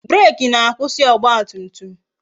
Breeki na-akwụsị ọgba tum tum